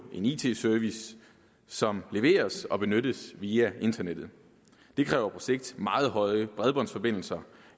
en it service som leveres og benyttes via internettet det kræver på sigt meget højere bredbåndsforbindelser